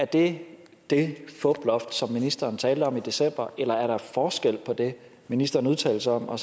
det det fuploft som ministeren talte om i december eller er der forskel på det ministeren udtalte sig om og